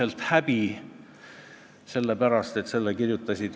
14. juunil, juuniküüditamise mälestuspäeval ma ei mõelnud reitingu tõstmisele.